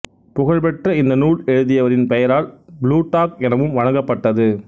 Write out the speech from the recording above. புகழ் பெற்ற இந்த நூல் எழுதியவரின் பெயரால் புளூட்டாக் எனவும் வழங்கப்பட்டது